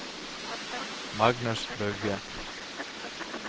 Magnus Bugge